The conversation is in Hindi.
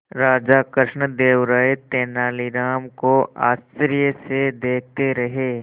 राजा कृष्णदेव राय तेनालीराम को आश्चर्य से देखते रहे